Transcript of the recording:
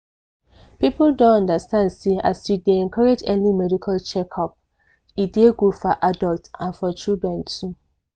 people don understand say as you dey encourage early medical check-up e dey good for adults and for children too.